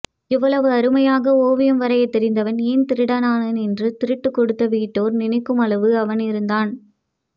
இவ்வளவு அருமையாக ஓவியம் வரையத் தெரிந்தவன் ஏன் திருடன் ஆனான் என்று திருட்டுக் கொடுத்த வீட்டோர் நினைக்குமளவு அவனிருந்தான்